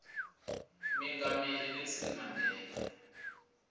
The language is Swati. mengameli nelson mandela